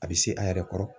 A bɛ se a yɛrɛ kɔrɔ